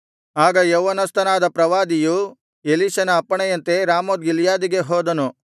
ಆಗ ಯೌವನಸ್ಥನಾದ ಪ್ರವಾದಿಯು ಎಲೀಷನ ಅಪ್ಪಣೆಯಂತೆ ರಾಮೋತ್ ಗಿಲ್ಯಾದಿಗೆ ಹೋದನು